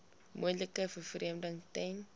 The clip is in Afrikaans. moontlike vervreemding ten